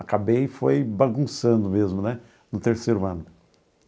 Acabei foi bagunçando mesmo né, no terceiro ano.